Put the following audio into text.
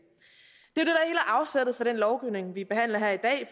er det for den lovgivning vi behandler her i dag